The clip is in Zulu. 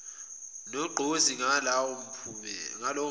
nogqozi ngalowo mphumela